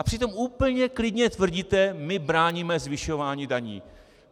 A přitom úplně klidně tvrdíte: My bráníme zvyšování daní.